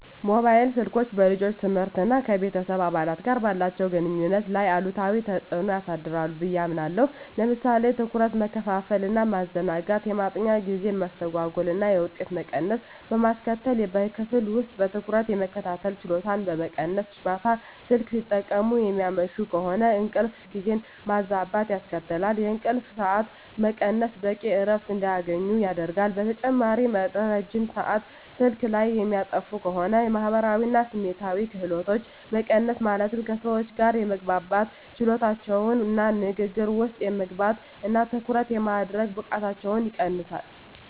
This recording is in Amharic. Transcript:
ሞባይል ስልኮች በልጆች ትምህርት እና ከቤተሰብ አባላት ጋር ባላቸው ግንኙነት ላይ አሉታዊ ተጽዕኖ ሊያሳድሩ ብየ አምናለሁ። ለምሳሌ ትኩረት መከፋፈል እና ማዘናጋት፣ የማጥኛ ጊዜ መስተጓጎል እና የውጤት መቀነስ በማስከትል፣ በክፍል ውስጥ በትኩረት የመከታተል ችሎታን በመቀነስ፣ ማታ ስልክ ሲጠቀሙ የሚያመሹ ከሆነ እንቅልፍ ጊዜን ማዛባት ያስከትላል፣ የእንቅልፍ ሰዓት መቀነስ በቂ እረፍት እንዳያገኙ ያደርጋል። በተጨማሪም ረጅም ሰአት ስልክ ላይ የሚያጠፉ ከሆነ የማህበራዊ እና ስሜታዊ ክህሎቶች መቀነስ ማለትም ከሰዎች ጋር የመግባባት ችሎታቸውን እና ንግግር ውስጥ የመግባት እና ትኩረት የማድረግ ብቃታቸውን ይቀንሰዋል።